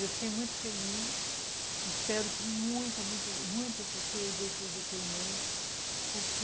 Eu fiquei muito feliz, espero que muitas, muitas pessoas dêem seus depoimentos, porque